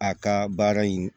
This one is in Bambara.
A ka baara in